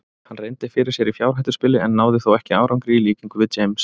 Hann reyndi fyrir sér í fjárhættuspili en náði þó ekki árangri í líkingu við James.